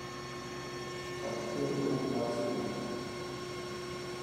chak kendo buk mar sigana